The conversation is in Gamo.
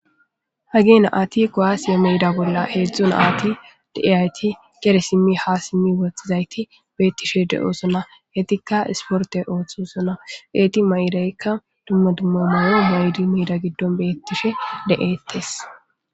Hagge na'ayti kuwasse meeda bolla heezhzhu naati deiyayti geede siimi ha siim woxxizayti bettishe de'ossona eetika ha issportte ooththosona eeti mayidaykka dumma dumma mayo mayidi meeda giddon bettishe de'ettes.